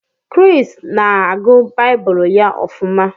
Chris na-agụ Baịbụl ya ofuma